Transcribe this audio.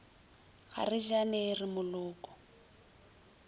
ga re jane re moloko